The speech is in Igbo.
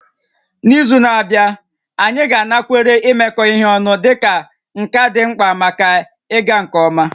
N'izu na-abịa, anyị ga-anakwere imekọ ihe ọnụ dịka nka dị mkpa maka ịga nke ọma